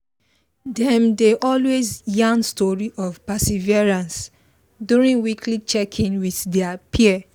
them dey always yarn story of perseverance during weekly check in with their peer